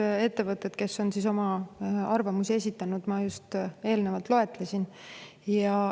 Need ettevõtted, kes on oma arvamuse esitanud, ma just eelnevalt loetlesin.